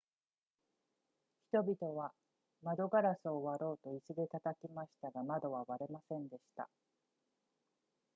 人々は窓ガラスを割ろうと椅子で叩きましたが窓は割れませんでした